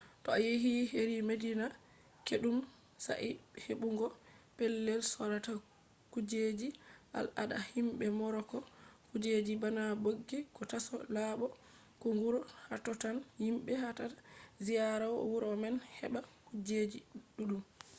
to a yehi heri madina kiɗɗum saɗai heɓugo pellel sorata kujeji al ada himɓe moroko kujeji bana ɓoggi ko taso laɓo ko nguru. hatotton himɓe yahata ziyara wuro man heɓata kujeji ɗuɗɗum